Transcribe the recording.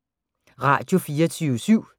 Radio24syv